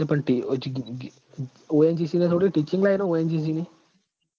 પણ ટી ONGC એટલ થોડી teaching line હ ONGC ની